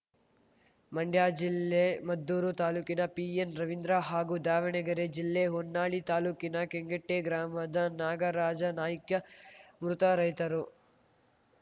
ಮಂಡ್ಯ ಜಿಲ್ಲೆ ಮದ್ದೂರು ತಾಲೂಕಿನ ಪಿಎನ್‌ ರವಿಂದ್ರ ಹಾಗೂ ದಾವಣಗೆರೆ ಜಿಲ್ಲೆ ಹೊನ್ನಾಳಿ ತಾಲೂಕಿನ ಕೆಂಗಟ್ಟೆಗ್ರಾಮದ ನಾಗರಾಜನಾಯ್ಕ ಮೃತ ರೈತರು